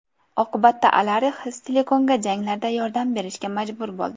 Oqibatda, Alarix Stilikonga janglarda yordam berishga majbur bo‘ldi.